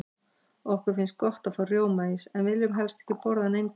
Okkur finnst gott að fá rjómaís, en viljum helst ekki borða hann eingöngu.